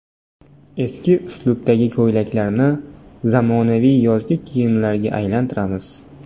Eski uslubdagi ko‘ylaklarni zamonaviy yozgi kiyimlarga aylantiramiz .